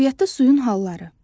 Təbiətdə suyun halları.